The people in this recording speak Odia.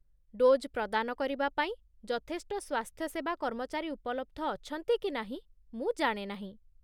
ଡୋଜ୍ ପ୍ରଦାନ କରିବା ପାଇଁ ଯଥେଷ୍ଟ ସ୍ୱାସ୍ଥ୍ୟସେବା କର୍ମଚାରୀ ଉପଲବ୍ଧ ଅଛନ୍ତି କି ନାହିଁ ମୁଁ ଜାଣେ ନାହିଁ।